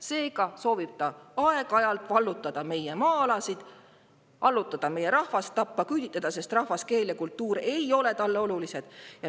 Seega soovib ta aeg-ajalt vallutada meie maa-alasid, allutada meie rahvast, tappa, küüditada, sest rahvas, keel ja kultuur ei ole talle olulised.